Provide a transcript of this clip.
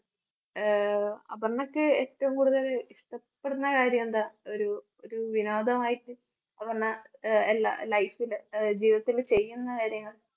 ആഹ് അപര്‍ണ്ണക്ക് ഏറ്റവും കൂടുതല് ഇഷ്ട്ടപെടുന്ന കാര്യമെന്താ? ഒരു ഒരു വിനോദമായിട്ട് അപര്‍ണ്ണ അഹ് എല്ലാ life ല് ജീവിതത്തില് ചെയ്യുന്ന കാര്യങ്ങൾ